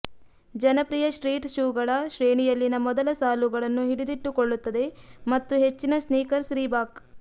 ಜನಪ್ರಿಯ ಸ್ಟ್ರೀಟ್ ಶೂಗಳ ಶ್ರೇಣಿಯಲ್ಲಿನ ಮೊದಲ ಸಾಲುಗಳನ್ನು ಹಿಡಿದಿಟ್ಟುಕೊಳ್ಳುತ್ತದೆ ಮತ್ತು ಹೆಚ್ಚಿನ ಸ್ನೀಕರ್ಸ್ ರೀಬಾಕ್